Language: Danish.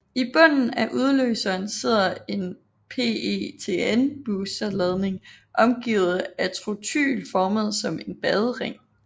I bunden af udløseren sidder en PETN booster ladning omgivet af trotyl formet som en badering